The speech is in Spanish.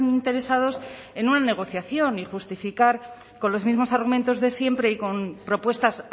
interesados en una negociación y justificar con los mismos argumentos de siempre y con propuestas